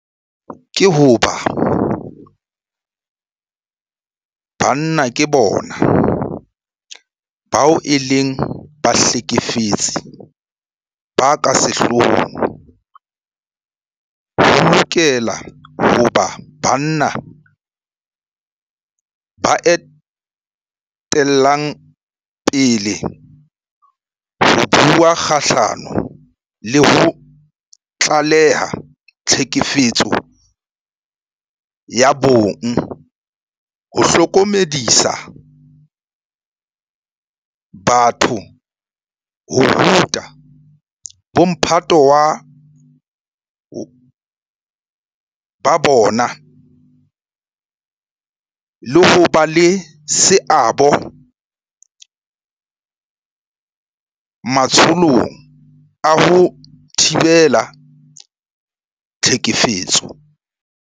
Ka hobane banna ke bona bao e leng bahlekefetsi ba ka sehloohong, ho lokela ho ba banna ba etellang pele ho bua kgahlano le ho tlaleha tlhekefetso ya bong, ho hlokomedisa batho, ho ruta bomphato ba bona le ho ba le seabo matsholong a ho thibela tlhekefetso.